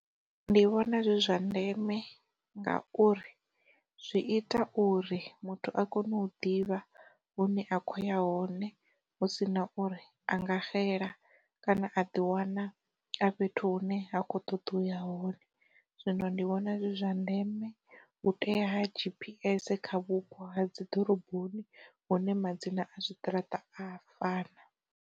Ndi vhona zwi zwa ndeme nga uri, zwi ita uri muthu a kone u ḓivha hune a khou ya hone hu si na uri anga xela kana a ḓi wana a fhethu hune ha kho ṱoḓa uya hone. Zwino ndi vhona zwi zwa ndeme u tea G_P_S kha vhupo ha dzi ḓoroboni hune madzina a zwiṱaraṱa a fana.